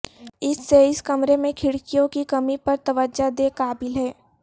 اس سے اس کمرے میں کھڑکیوں کی کمی پر توجہ دے قابل ہے